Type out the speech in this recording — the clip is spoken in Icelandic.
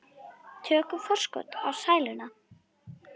Tökum forskot á sæluna.